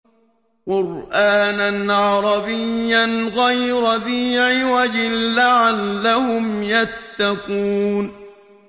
قُرْآنًا عَرَبِيًّا غَيْرَ ذِي عِوَجٍ لَّعَلَّهُمْ يَتَّقُونَ